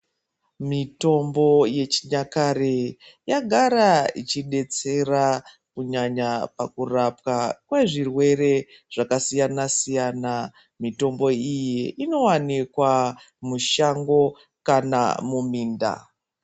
Mitombo yechinyakare yagara ichidetsera kunyanya pakurapwa kwezvirwere zvakasiyana siyana , mitombo iyi inowanikwa mushango kana muminda.